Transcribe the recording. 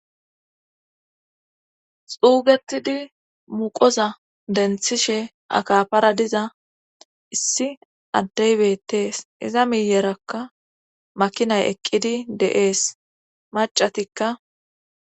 xuugetidi muqoza denthishe akapara diza issi addey bettees iza miyerakka makinay eqqidi de7ees macatikka